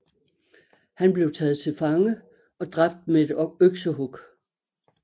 Han blev taget til fange og dræbt med et øksehug